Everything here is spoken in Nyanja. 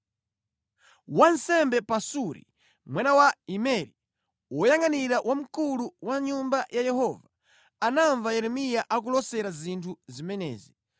Wansembe Pasuri mwana wa Imeri, woyangʼanira wamkulu wa Nyumba ya Yehova, anamva Yeremiya akulosera zinthu zimenezi.